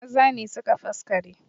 Maza ne suke faskare